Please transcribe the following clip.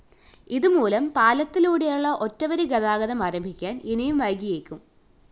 ഇതുമൂലം പാലത്തിലൂടെയുള്ള ഒറ്റവരി ഗാതാഗതം ആരംഭിക്കാന്‍ ഇനിയും വൈകിയേക്കും